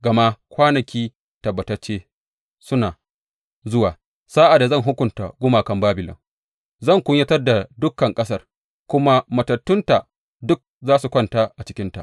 Gama kwanaki tabbatacce suna zuwa, sa’ad da zan hukunta gumakan Babilon, zan kunyatar da dukan ƙasar kuma matattunta duk za su kwanta a cikinta.